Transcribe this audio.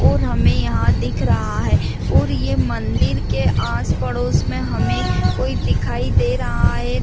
और हमें यहां दिख रहा है और ये मंदिर के आस पड़ोस में हमें कोई दिखाई दे रहा है।